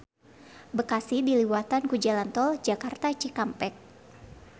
Bekasi diliwatan ku jalan tol Jakarta-Cikampek.